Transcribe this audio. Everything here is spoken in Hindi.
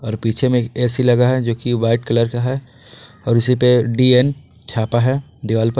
और पीछे में एक ए_सी लगा है जो की वाइट कलर का है और इसी पे डीएन छापा है दीवाल पर।